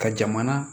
Ka jamana